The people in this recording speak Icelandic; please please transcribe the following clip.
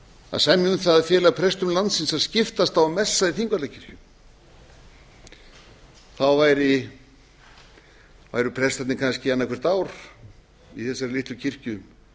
að semja um það að fela prestum landsins að skiptast á um það að fela í þingvallakirkju þá væru prestarnir kannski annaðhvort ár í þessari litlu kirkju